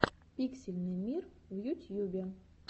пиксельный мир в ютьюбе